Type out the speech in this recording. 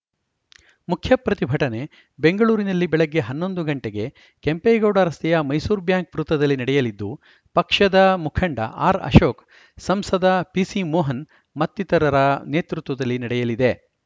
ಮುಖ್ಯ ಪ್ರತಿಭಟನೆ ಬೆಂಗಳೂರಿನಲ್ಲಿ ಬೆಳಗ್ಗೆ ಹನ್ನೊಂದು ಗಂಟೆಗೆ ಕೆಂಪೇಗೌಡ ರಸ್ತೆಯ ಮೈಸೂರು ಬ್ಯಾಂಕ್‌ ವೃತ್ತದಲ್ಲಿ ನಡೆಯಲಿದ್ದು ಪಕ್ಷದ ಮುಖಂಡ ಆರ್‌ಅಶೋಕ್‌ ಸಂಸದ ಪಿಸಿಮೋಹನ್‌ ಮತ್ತಿತರರ ನೇತೃತ್ವದಲ್ಲಿ ನಡೆಯಲಿದೆ